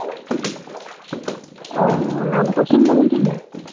অ, নামটো চোন বহুত ধুনীয়া।